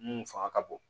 Mun fanga ka bon